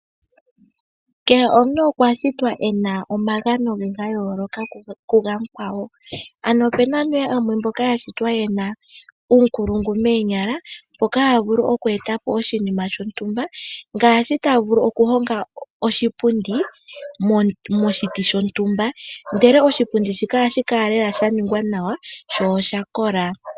Kehe omuntu okwa shitwa ena omagano ge gayoloka kuga yakwawo. Ano opena aantu mboka yena uunkulungu moonyala, mboka ta vulu oku etapo oshinima shontumba. Ngaashi ta vulu oku honga oshipundi moshiti shontumba, ndele oshipundi shika ohashi kala lela sha ningwa nawa sho osha kola.